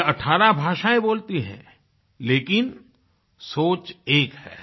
यह 18 भाषाएँ बोलती हैं लेकिन सोच एक है